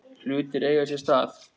Hlutir eiga sér stað.